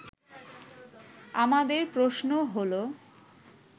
আমাদের প্রশ্ন হলো